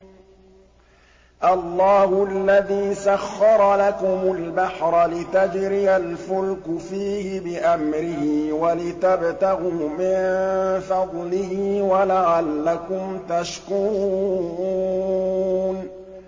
۞ اللَّهُ الَّذِي سَخَّرَ لَكُمُ الْبَحْرَ لِتَجْرِيَ الْفُلْكُ فِيهِ بِأَمْرِهِ وَلِتَبْتَغُوا مِن فَضْلِهِ وَلَعَلَّكُمْ تَشْكُرُونَ